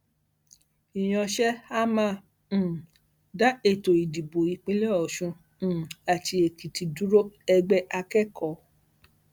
ìyànṣe a máa um dá ètò ìdìbò ìpínlẹ ọsùn um àti èkìtì dúró ẹgbẹ akẹkọọ